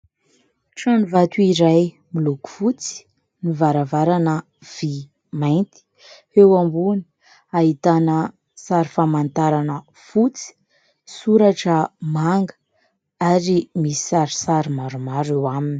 Trano vato iray miloko fotsy, ny varavarana vy mainty, eo ambony ahitana sary famantarana fotsy, soratra manga ary misy sarisary maromaro eo aminy.